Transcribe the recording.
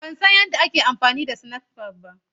Ban san yadda ake amfani da snapchat ba.